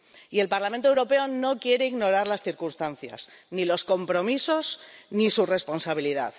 Y el Parlamento Europeo no quiere ignorar las circunstancias, ni los compromisos, ni su responsabilidad.